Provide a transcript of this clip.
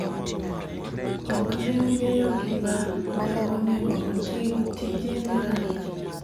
ok ne ong'eyo gima ne onego otim, tije ne rach